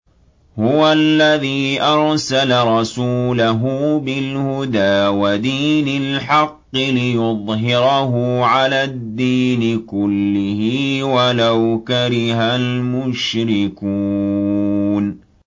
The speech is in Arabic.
هُوَ الَّذِي أَرْسَلَ رَسُولَهُ بِالْهُدَىٰ وَدِينِ الْحَقِّ لِيُظْهِرَهُ عَلَى الدِّينِ كُلِّهِ وَلَوْ كَرِهَ الْمُشْرِكُونَ